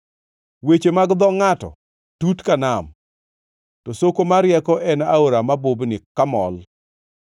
Weche mag dho ngʼato tut ka nam, to soko mar rieko en aora mabubni kamol.